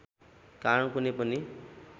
कारण कुनै पनि